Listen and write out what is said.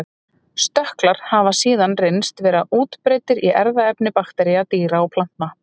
Stökklar hafa síðan reynst vera útbreiddir í erfðaefni baktería, dýra og plantna.